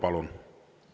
Palun!